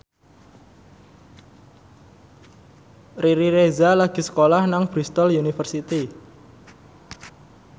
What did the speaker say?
Riri Reza lagi sekolah nang Bristol university